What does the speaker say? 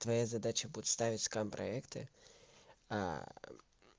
твоя задача будет ставить скам проекты